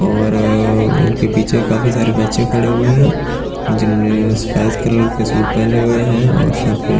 और उनके पीछे काफी सारे बच्चे खड़े हुए हैं जिन्होंने सफेद कलर के सूट पहने हुए हैं और सर पे --